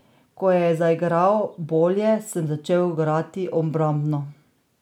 Ko je zaigral bolje, sem začel igrati obrambno.